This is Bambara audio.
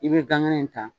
I bɛ gan ŋɛnɛ ta